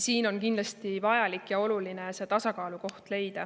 Siin on kindlasti vajalik ja oluline leida tasakaalukoht.